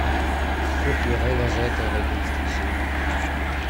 кухня война за отель одиннадцатая серия